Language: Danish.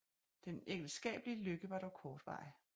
Den ægteskabelige lykke var dog kortvarig